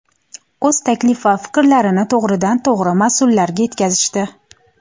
o‘z taklif va fikrlarini to‘g‘ridan-to‘g‘ri mas’ullarga yetkazishdi.